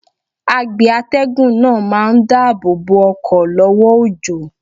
Agbe atẹ́gùn náà máa ń dáàbò bo ọkọ̀ lọ́wọ́ òjò.